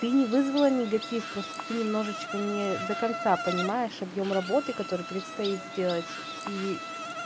тыне вызвала негатив просто ты немножечко не до конца понимаешь объем работы которой предстоит сделать и